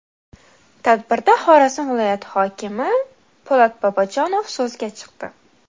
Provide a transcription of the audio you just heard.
Tadbirda Xorazm viloyati hokimi P. Bobojonov so‘zga chiqdi.